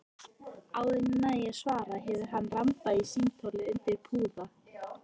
Áður en ég næ að svara hefur hann rambað á símtólið undir púða.